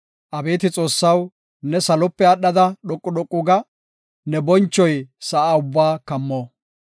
Abeeti Xoossaw, ne salope aadhada dhoqu dhoqu ga; ne bonchoy sa7a ubbaa kammo.